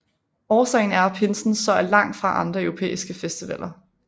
Årsagen er at pinsen så er langt fra andre europæiske festivaler